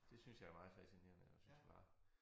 Det synes jeg er meget fascinerende og synes jeg bare